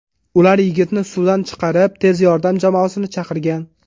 Ular yigitni suvdan chiqarib, tez yordam jamoasini chaqirgan.